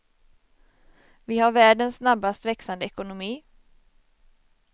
Vi har världens snabbast växande ekonomi.